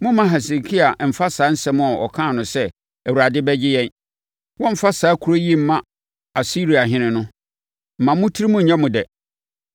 Mommma Hesekia mfa saa asɛm a ɔkaa no sɛ, ‘ Awurade bɛgye yɛn! Wɔremfa saa kuro yi mma Asiriahene’ no, mma mo tirim nyɛ mo dɛ.